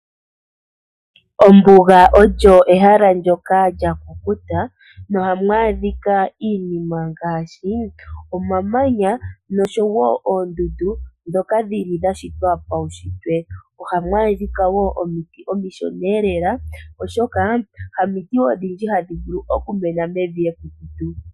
Ombuga olyo ehalo ndoka lyakukuta. Na ohamu adhika iinima ngaashi, omamanya noshowo oondundu dhoka dhili dhashitwa pawushitwe. Ohamu adhika wo omiti omishoneelela oshoka hamiti odhindji hadhi vulu oku mena mevi ekukutu.